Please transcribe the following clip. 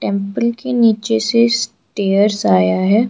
Apple के नीचे से स्टेयर्स आया है।